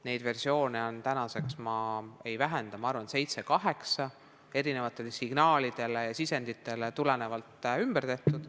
Neid versioone on tänaseks, ma arvan, seitse-kaheksa korda erinevatele signaalidele ja sisenditele reageerides ümber tehtud.